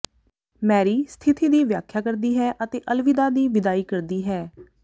Mary ਸਥਿਤੀ ਦੀ ਵਿਆਖਿਆ ਕਰਦੀ ਹੈ ਅਤੇ ਅਲਵਿਦਾ ਦੀ ਵਿਦਾਈ ਕਰਦੀ ਹੈ